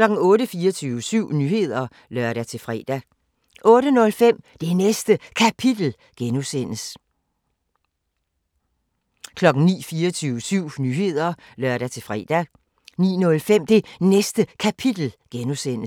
24syv Nyheder (lør-fre) 08:05: Det Næste Kapitel (G) 09:00: 24syv Nyheder (lør-fre) 09:05: Det Næste Kapitel (G)